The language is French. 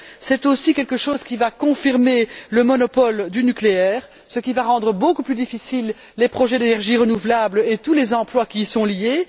C'est aussi une décision qui va confirmer le monopole du nucléaire, ce qui va rendre beaucoup plus difficiles les projets d'énergies renouvelables et tous les emplois qui y sont liés.